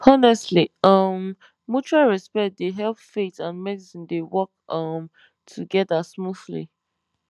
honestly um mutual respect dey help faith and medicine dey work um together smoothly